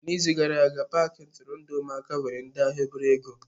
N'izu gara aga, paaki nturundu ụmụaka nyere ndị ahịa obele ego.